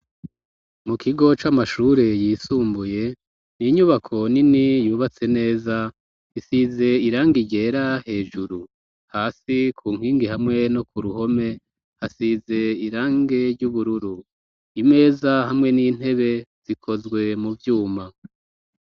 Mu kigo c'amashure yisumbuye ninyubako nini yubatse neza. Isize irange ryera hejuru hasi ku nkingi hamwe no ku ruhome hasize irangi ryubururu imeza hamwe n'intebe zikozwe mu vyuma.